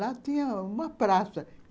Lá tinha uma praça.